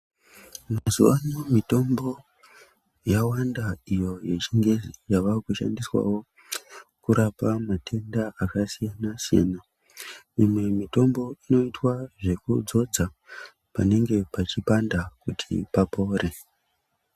Mazuva anaya mitombo yawanda iyo ye chingezi yava kushandiswawo kurapa matenda aka siyana siyana imwe mitombo inoitwa zveku dzodza panenge pe chipanda kuti papore.